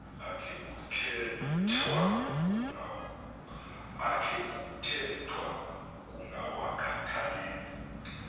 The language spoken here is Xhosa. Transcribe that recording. akhe kuthethwa ukungawakhathaleli